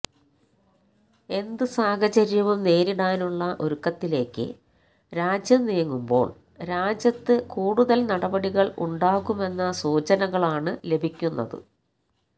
എന്ത് സാഹചര്യവും നേരിടാനുള്ള ഒരുക്കത്തിലേക്ക് രാജ്യം നീങ്ങുമ്പോള് രാജ്യത്ത് കൂടുതല് നടപടികള് ഉണ്ടാകുമെന്ന സൂചനകളാണ് ലഭിക്കുന്നത്